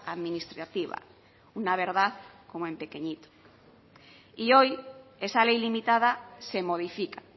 administrativa una verdad como en pequeñito y hoy esa ley limitada se modifica